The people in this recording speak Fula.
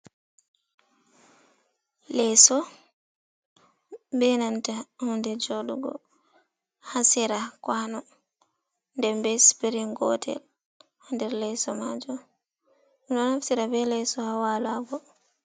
Leeso be nanta hunde jaɗugo ha sera kuano, nde be spiring gotel ha nder leeso majum, min ɗo naftira be leeso ha walago.